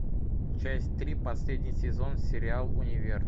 часть три последний сезон сериал универ